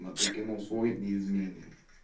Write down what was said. а ты кинул свой неизменный